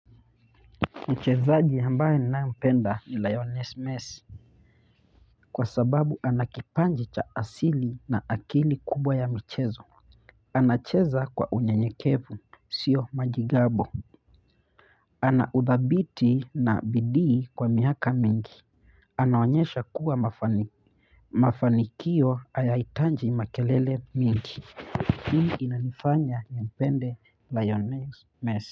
Mchezaji ambaye ninayempenda ni Lionel Messi, kwa sababu ana kipaji cha asili na akili kubwa ya mchezo. Anacheza kwa unyenyekevu, sio majigambo. Anaudhabiti na bidii kwa miaka mingi. Anaonyesha kuwa mafanikio hayahitaji makelele mengi. Hili linanifanya ni mpende lionel messi.